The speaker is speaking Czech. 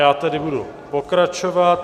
Já tedy budu pokračovat.